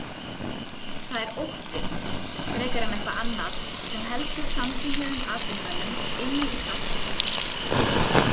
Það er ótti, frekar en eitthvað annað, sem heldur samkynhneigðum atvinnumönnum inni í skápnum.